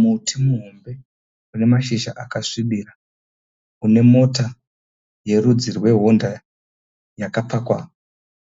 Muti muhombe unemashizha akasvibira unemota yerudzi rwehonda yakapakwa